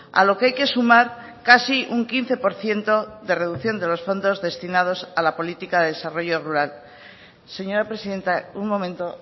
a lo que hay que sumar casi un quince por ciento de reducción de los fondos destinados a la política de desarrollo rural señora presidenta un momento